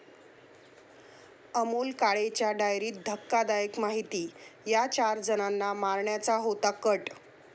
अमोल काळेच्या डायरीत धक्कादायक माहिती, 'या' चार जणांना मारण्याचा होता कट